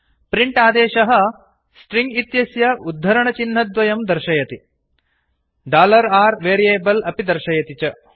print आदेशः string इत्यस्य उद्धरणचिह्नद्वयं दर्शयति r वेरियबल् अपि दर्शयति च